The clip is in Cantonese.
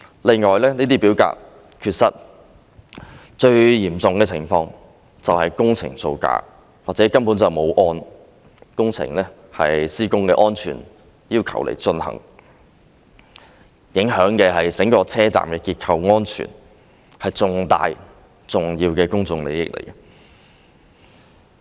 另外，這些表格缺失，最嚴重的情況是工程造假或工程根本沒有按施工安全要求進行，影響的是整個車站的結構安全，是重大、重要的公眾利益。